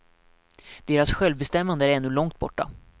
Deras självbestämmande är ännu långt borta.